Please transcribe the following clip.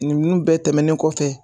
Ninnu bɛɛ tɛmɛnen kɔfɛ